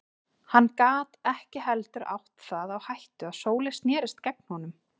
Hann gat ekki heldur átt það á hættu að Sóley snerist gegn honum.